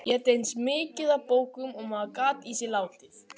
Éta eins mikið af bókum og maður gat í sig látið.